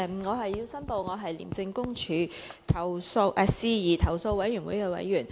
我要申報我是廉政公署事宜投訴委員會的委員。